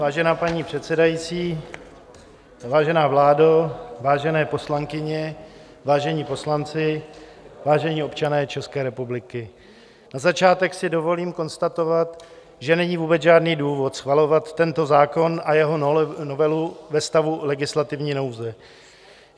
Vážená paní předsedající, vážená vládo, vážené poslankyně, vážení poslanci, vážení občané České republiky, na začátek si dovolím konstatovat, že není vůbec žádný důvod schvalovat tento zákon a jeho novelu ve stavu legislativní nouze.